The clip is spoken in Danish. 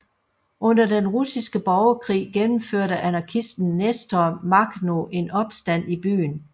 Under den russiske borgerkrig gennemførte anarkisten Nestor Makhno en opstand i byen